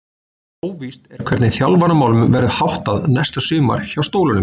Óvíst er hvernig þjálfaramálum verður háttað næsta sumar hjá Stólunum.